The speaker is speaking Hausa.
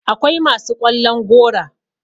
akwai masu ƙwallon gora